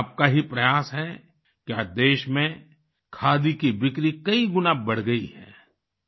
ये आपका ही प्रयास है कि आज देश में खादी की बिक्री कई गुना बढ़ गई है